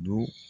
Don